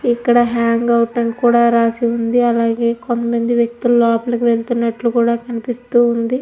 ఇక్కడ hang out అని కూడా రాసిఉంది. అలాగే కొంత మంది వేక్తిలు లోపలి వెళ్తున్నాట్టు కనిపిస్తుంది.